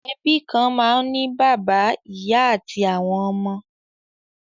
Ẹbí kan máa ń ní bàbá, ìyá àti àwọn ọmọ.